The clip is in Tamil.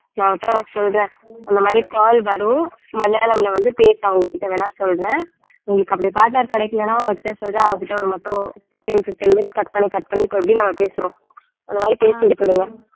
நான் அவகிட்ட வேணா சொல்றேன் அந்த மாரி call வரும் மலையாளம்ல வந்து பேசு அவங்ககிட்ட வேணா சொல்றேன் உங்களுக்கு அப்படி partner கிடைக்கலன்னா அவகிட்ட சொல்றேன் அவகிட்ட ஒரு மட்டும் fifteen fifteen minutes cut பண்ணி cut பண்ணி இப்ப எப்படி நம்ம பேசுறோம் அந்த மாதிரி பேசி விட்டுடுங்க